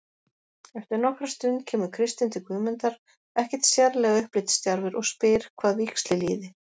Eftir nokkra stund kemur Kristinn til Guðmundar, ekkert sérlega upplitsdjarfur, og spyr hvað víxli líði.